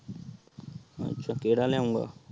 ਅੱਛਾ ਕਿਹੜਾ ਲਿਆਉਗਾ।